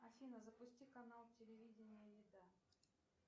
афина запусти канал телевидения еда